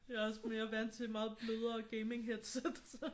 Jeg er også mere vant til meget blødere gaming-headsets så